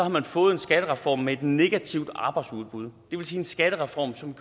man fået en skattereform med et negativt arbejdsudbud og det vil sige en skattereform som